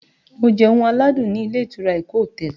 Mo jẹ oúnjẹ aládùn ni ilé ìtura Eko hotel